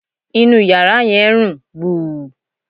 Inú yàrá yẹn ń rùn gbùù